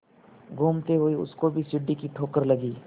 घूमते हुए उसको भी सीढ़ी की ठोकर लगी